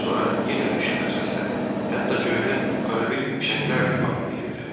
Sonra yenə qışqırıq səsləri, hətta göydə arada fişənglər də parıldayırdı.